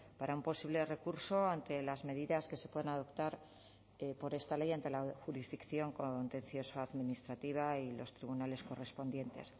para un posible recurso ante las medidas que se puedan adoptar por esta ley ante la jurisdicción contencioso administrativa y los tribunales correspondientes